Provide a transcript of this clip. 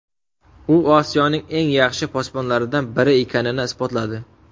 U Osiyoning eng yaxshi posbonlaridan biri ekanini isbotladi.